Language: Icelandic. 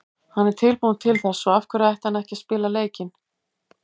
Hann er tilbúinn til þess, svo af hverju ætti hann ekki að spila leikinn?